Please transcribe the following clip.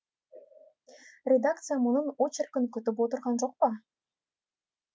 редакция мұның очеркін күтіп отырған жоқ па